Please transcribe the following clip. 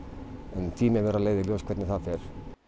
en tíminn verður að leiða í ljós hvernig það fer